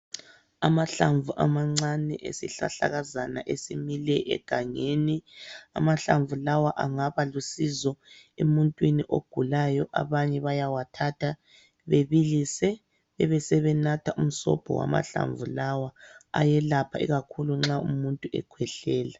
Amahlamvu amancane esihlahlakazana esimile egangeni. Amahlamvu lawa angaba lusizo emuntwini ogulayo, abanye bayawathatha bebilise ebe sebenatha umsobho wamahlamvu lawa ayelapha ikakhulu nxa umuntu ekhwehlela.